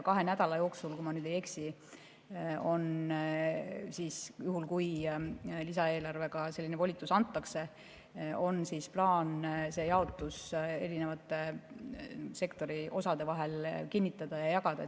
Kahe nädala jooksul, kui ma nüüd ei eksi, on juhul, kui lisaeelarvega selline volitus antakse, plaan see jaotus erinevate sektori osade vahel kinnitada ja jagada.